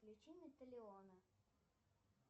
включи металиона